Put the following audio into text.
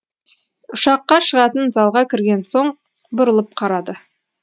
ұшаққа шығатын залға кірген соң бұрылып қарады